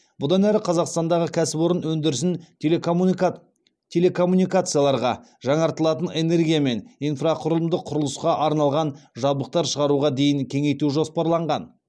бұдан әрі қазақстандағы кәсіпорын өндірісін телекоммуникацияларға жаңартылатын энергия мен инфрақұрылымдық құрылысқа арналған жабдықтар шығаруға дейін кеңейту жоспарланған